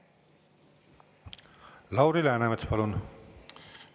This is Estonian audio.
Lauri Läänemets, palun!